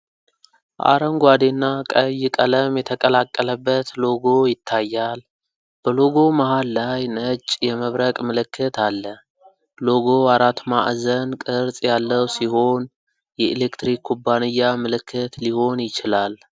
አረንጓዴና ቀይ ቀለም የተቀላቀለበት ሎጎ ይታያል:: በሎጎው መሃል ላይ ነጭ የመብረቅ ምልክት አለ:: ሎጎው አራት ማዕዘን ቅርጽ ያለው ሲሆን፣ የኤሌክትሪክ ኩባንያ ምልክት ሊሆን ይችላል::